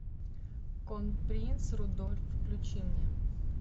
кронпринц рудольф включи мне